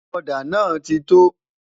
òdà nà tito